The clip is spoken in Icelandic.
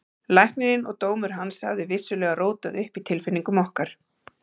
Læknirinn og dómur hans hafði vissulega rótað upp í tilfinningum okkar.